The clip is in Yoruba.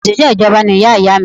Òṣìṣẹ́ ìjọba ni iyá iyá à mi